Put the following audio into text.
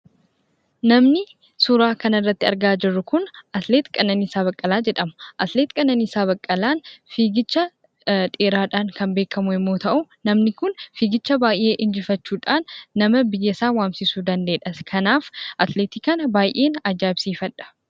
Namni suuraa kana irratti argaa jirru kun atileet Qananiisaa Baqqalaa jedhama. Atileet Qananiisaa Baqqalaan fiigicha dheeraadhaaan kan beekamu yommuu ta'u, namni kun fiigicha baay'ee injifachuudhaan nama biyyasaa waamsisuu danda'eedhas. Kanaaf atileetii kana baay'een ajaa'ibsiifadha.